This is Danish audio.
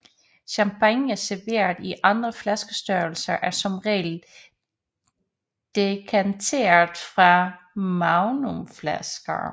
Champagne serveret i andre flaskestørrelser er som regel dekanteret fra magnumflasker